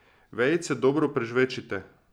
Vejice dobro prežvečite.